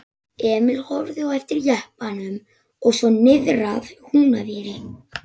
Emil horfði á eftir jeppanum og svo niðrað Húnaveri.